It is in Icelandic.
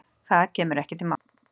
Það kemur ekki til mála.